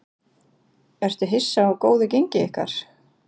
Ertu hissa á góðu gengi ykkar?